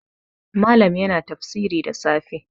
Malam yana tafsiri da safe